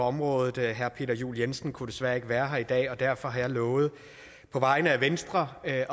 området herre peter juel jensen kunne desværre ikke være her i dag og derfor har jeg lovet på vegne af venstre at